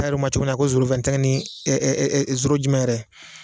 A yɛrɛ ma cogo min na ko ni jumɛn yɛrɛ